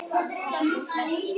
Að taka upp veskið.